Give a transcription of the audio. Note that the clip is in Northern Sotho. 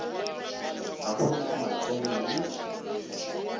ga go na matseno le